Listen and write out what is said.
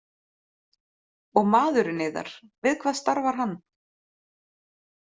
Og maðurinn yðar, við hvað starfar hann?